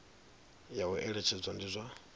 ya u eletshedza ndi zwa